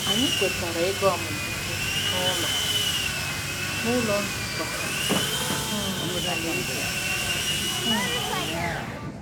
Anyị kwetara ịga ọmụmụ ihe n’Ụlọ n’Ụlọ Nzukọ um Alaeze. um